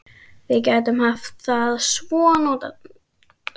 Við gætum haft það svo notalegt.